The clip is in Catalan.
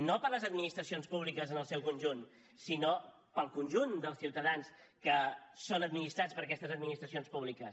no per a les administracions públiques en el seu conjunt sinó per al conjunt dels ciutadans que són administrats per aquestes administracions públiques